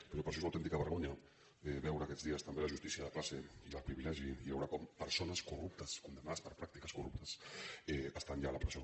però per això és una autèn·tica vergonya veure aquests dies també la justícia de classe i el privilegi i veure com persones corruptes condemnades per pràctiques corruptes estan ja fora de la presó